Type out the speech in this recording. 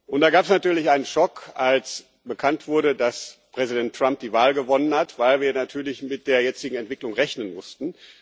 Und da gab es natürlich einen Schock, als bekannt wurde, dass Präsident Trump die Wahl gewonnen hat, weil wir natürlich mit der jetzigen Entwicklung rechnen mussten.